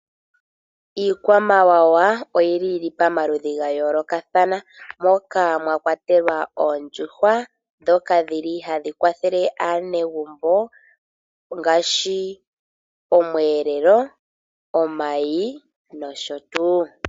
Iikwamawawa oyili yili pamaludhi gayoolokathana moka mwakwatelwa oondjuhwa dhoka dhili hadhi kwathele aanegumbo ngaashi, omweelelo, omayi nosho tu.